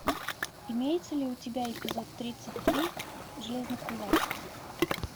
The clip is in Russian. имеется ли у тебя эпизод тридцать три железный кулак